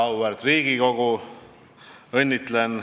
Väga auväärt Riigikogu!